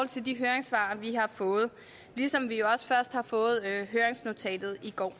til de høringssvar vi har fået ligesom vi også først har fået høringsnotatet i går